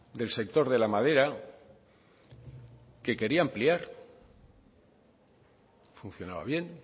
del sector de la madera que quería ampliar funcionaba bien